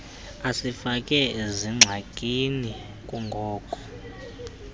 asifake zingxakini kungoko